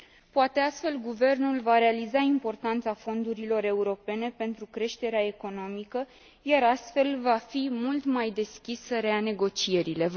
Poate, astfel, Guvernul va realiza importanța fondurilor europene pentru creșterea economică și, astfel, va fi mult mai deschis să reia negocierile.